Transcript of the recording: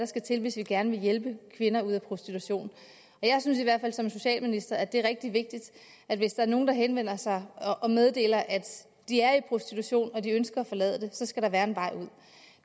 skal til hvis vi gerne vil hjælpe kvinder ud af prostitution jeg synes i hvert fald som socialminister at det er rigtig vigtigt at hvis der er nogen der henvender sig og meddeler at de er i prostitution og at de ønsker at forlade det så skal der være en vej ud